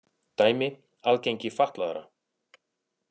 Dæmi: aðgengi fatlaðra.